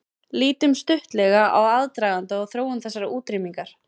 Lítum stuttlega á aðdraganda og þróun þessarar útrýmingar.